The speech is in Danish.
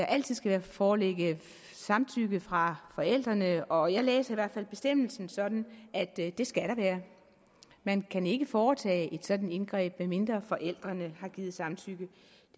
altid skal foreligge samtykke fra forældrene og jeg læser i hvert fald bestemmelsen sådan at det skal der man kan ikke foretage et sådant indgreb medmindre forældrene har givet samtykke